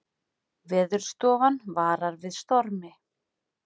Veðurstofan varar við stormi